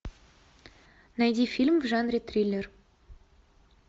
найди фильм в жанре триллер